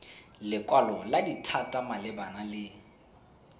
lekwalo la dithata malebana le